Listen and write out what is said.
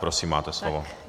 Prosím, máte slovo.